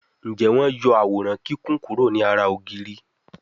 Njé wón yó Àwòrán Kíkún kuro ní àrà ògiri?